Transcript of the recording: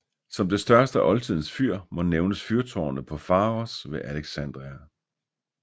Som det største af oldtidens fyr må nævnes fyrtårnet på Faros ved Alexandria